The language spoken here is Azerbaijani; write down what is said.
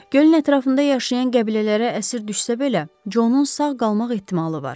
Gölün ətrafında yaşayan qəbilələrə əsir düşsə belə, Conun sağ qalmaq ehtimalı var.